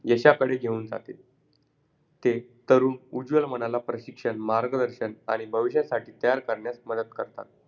प्रश्न क्रमांक तीन योग्य कारण शोधा चंद्रावरच्या शाळेत जाताना oxygen चे cylinder न्यावे लागेल कारण.